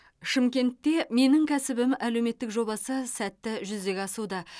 шымкентте менің кәсібім әлеуметтік жобасы сәтті жүзеге асуда